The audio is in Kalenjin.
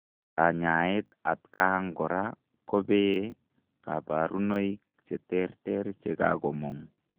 Kanyaaet atkaang koraa kopee kaparunoik cheterter chekamong